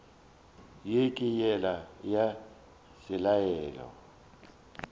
ye ke yela ya selalelo